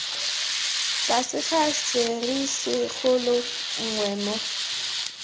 tlase ga serisikgolo nngwe moo